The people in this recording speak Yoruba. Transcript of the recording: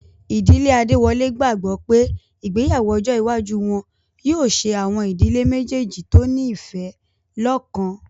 Ìdílé Adéwọlé gbàgbọ́ pé ìgbéyàwó ọjọ́ iwájú wọn yóò ṣe àwọn ìdílé méjèèjì tó ní ìfẹ́ lọ́kan